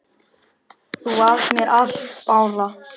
Þú varst mér allt, Bára.